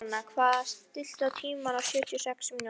Sigurnanna, stilltu tímamælinn á sjötíu og sex mínútur.